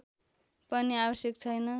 पनि आवश्यक छैन